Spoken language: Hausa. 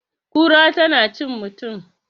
kura tana cin mutum?